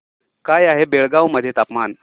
काय आहे बेळगाव मध्ये तापमान